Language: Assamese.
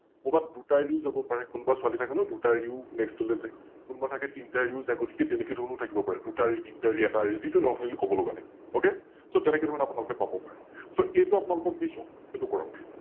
কৰবাত দুটা এৰিও যাব পাৰে, কোনোবা ছোৱালি থাকে ন, দুটা এৰিও Next টোলৈ যায়, কোনোবা থাকে তিনিটা এৰিও যায়, গতিকে তেনেকেধৰণেও থাকিব পাৰে, দুটা এৰি তিনিটা এৰি এটা এৰি, যিতো কবলগা নাই । OkSo তেনেকেধৰণে আপোনালোকে পাব পাৰে । So এইতো আপোনালোকক দিছো এইতো কৰক